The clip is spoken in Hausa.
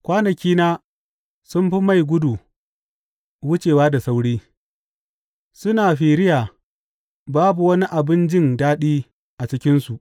Kwanakina sun fi mai gudu wucewa da sauri; suna firiya babu wani abin jin daɗi a cikinsu.